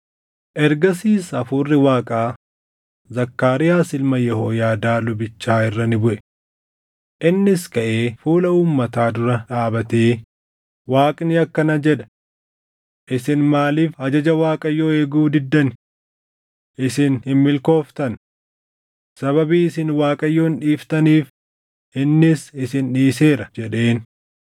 Ergasiis Hafuurri Waaqaa Zakkaariyaas ilma Yehooyaadaa lubichaa irra ni buʼe. Innis kaʼee fuula uummataa dura dhaabatee, “Waaqni akkana jedha: ‘Isin maaliif ajaja Waaqayyoo eeguu diddani? Isin hin milkooftan. Sababii isin Waaqayyoon dhiiftaniif innis isin dhiiseera’ ” jedheen.